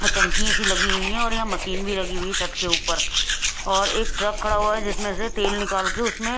टंकी ऐसी लगी हुई है और यहां मशीन भी लगी हुई है छत के ऊपर और एक ट्रक खड़ा हुआ है जिसमें से तेल निकाल के उसमें--